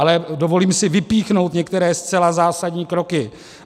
Ale dovolím si vypíchnout některé zcela zásadní kroky.